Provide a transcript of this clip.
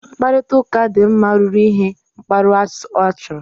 Mkparịta ụka dị mma ruru ihe mgbaru ọsọ achọrọ